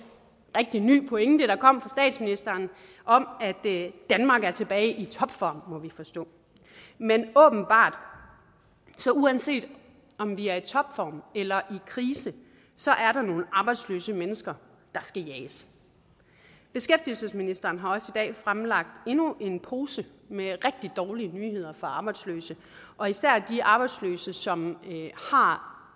ny pointe der kom fra statsministeren om at danmark er tilbage i topform må vi forstå men uanset om vi er i topform eller i krise så er der nogle arbejdsløse mennesker der skal jages beskæftigelsesministeren har også i dag fremlagt endnu en pose med rigtig dårlige nyheder for arbejdsløse og især de arbejdsløse som har